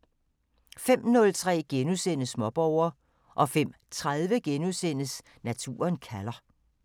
05:03: Småborger * 05:30: Naturen kalder *